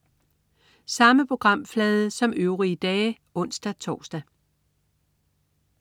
Samme programflade som øvrige dage (ons-tors)